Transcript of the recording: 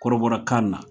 Kɔrɔbɔrɔkan na